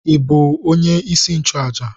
Ị bụ onye isi nchụàjà?